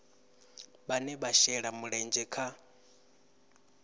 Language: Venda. vhane vha shela mulenzhe kha